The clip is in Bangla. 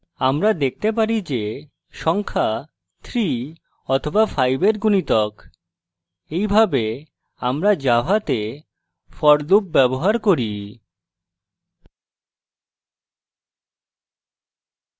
আমরা দেখতে পারি যে সংখ্যা 3 অথবা 5 we গুণিতক এইভাবে আমরা জাভাতে for loop ব্যবহার করি